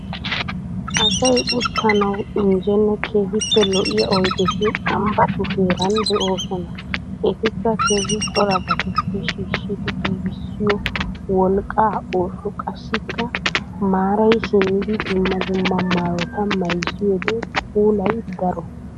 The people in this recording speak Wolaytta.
Asay uttanawuinjjene keehippe lo'iya oyiddeti ambbatu heera de'oosona. Ettikka keehi corabatuppe shiishiddi giiggissiyoo wolqqa osoo qassikka marayi simmidi dumma dumma maayota mayizziyode puulay daro.